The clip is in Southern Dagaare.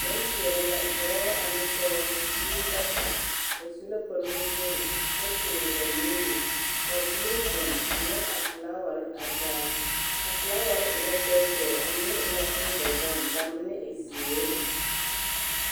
Nempeɛle la, dɔɔ ane pɔge, biiri bata ba su la kpare nuwogiri kyɛ toore ba nuuri ka biiri zeŋ a nyɔge a felaaware a taa. A felaaware e la tɛɛtɛɛ, a mine e la bondɔzɔŋ , ka mine e zeere.